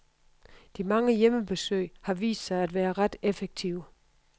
De mange hjemmebesøg har vist sig at være ret effektive.